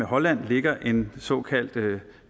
holland ligger en såkaldt